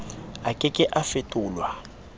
a ke ke a fetolwa